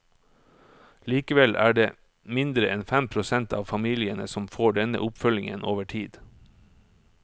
Likevel er det mindre enn fem prosent av familiene som får denne oppfølgingen over tid.